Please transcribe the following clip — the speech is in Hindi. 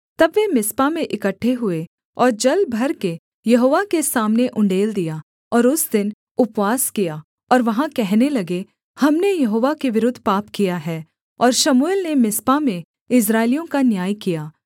तब वे मिस्पा में इकट्ठे हुए और जल भर के यहोवा के सामने उण्डेल दिया और उस दिन उपवास किया और वहाँ कहने लगे हमने यहोवा के विरुद्ध पाप किया है और शमूएल ने मिस्पा में इस्राएलियों का न्याय किया